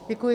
Děkuji.